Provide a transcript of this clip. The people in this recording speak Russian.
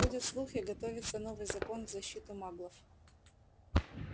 ходят слухи готовится новый закон в защиту маглов